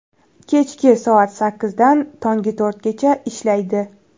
Kechki soat sakkizdan tongi to‘rtgacha ishlaydi.